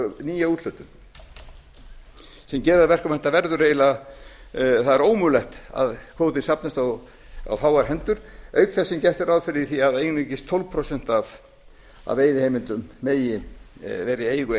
nýja úthlutun sem gerir það að verkum að það er ómögulegt að kvótinn safnist á fáar hendur auk þess sem gert er ráð fyrir því að einungis tólf prósent af veiðiheimildum megi vera í eigu